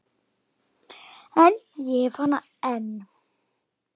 En ég hef hana enn.